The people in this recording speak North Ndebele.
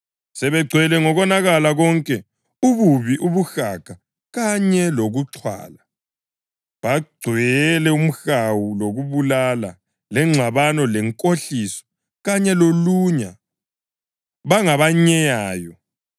Sebegcwele ngokonakala konke, ububi, ubuhaga kanye lokuxhwala. Bagcwele umhawu, lokubulala, lengxabano, lenkohliso kanye lolunya. Bangabanyeyayo,